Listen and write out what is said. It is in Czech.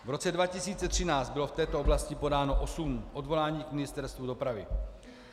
V roce 2013 bylo v této oblasti podáno osm odvolání k Ministerstvu dopravy.